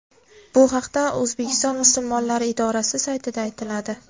Bu haqda O‘zbekiston Musulmonlari idorasi saytida aytiladi.